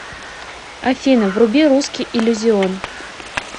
афина вруби русский иллюзион